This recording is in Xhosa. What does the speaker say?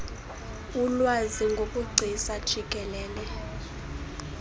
ulwazi ngobugcisa jikelele